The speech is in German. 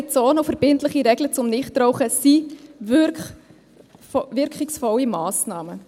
Rauchfreie Zonen und verbindliche Regeln zum Nichtrauchen sind wirkungsvolle Massnahmen.